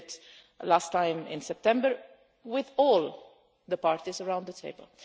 We did it last time in September with all the parties around the table.